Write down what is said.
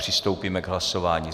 Přistoupíme k hlasování.